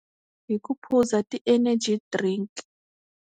Hi ku phuza ti-energy drink.